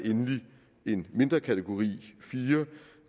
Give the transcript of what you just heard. en mindre kategori kategori fire